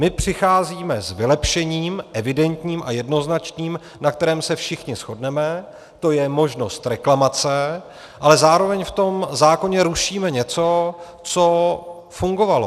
My přicházíme s vylepšením, evidentním a jednoznačným, na kterém se všichni shodneme, to je možnost reklamace, ale zároveň v tom zákoně rušíme něco, co fungovalo.